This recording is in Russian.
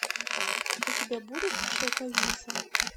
у тебя будет шелковица